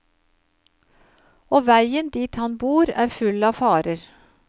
Og veien dit han bor er full av farer.